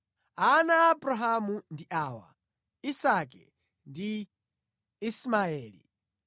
Ana a Abrahamu ndi awa: Isake ndi Ismaeli.